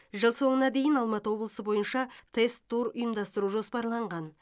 жыл соңына дейін алматы облысы бойынша тест тур ұйымдастыру жоспарланған